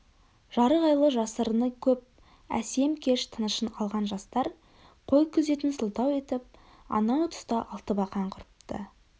жарық айлы жасырыны көп әсем кеш тынышын алған жастар қой күзетін сылтау етіп анау тұста алтыбақан құрыпты